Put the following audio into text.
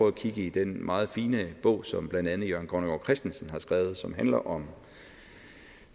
at kigge i den meget fine bog som blandt andet jørgen grønnegård christensen har skrevet som handler om